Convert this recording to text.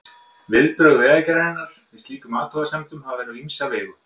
Viðbrögð Vegagerðarinnar við slíkum athugasemdum hafa verið á ýmsa vegu.